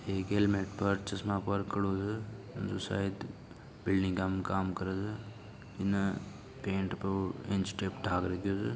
ऐ गेल मई पार्ट छे जिसमे खड़ो छे जो सायद बिल्डिगा में काम करू छे एने पेन पे ऊअ ईंच टेप ढाग रखियो छे।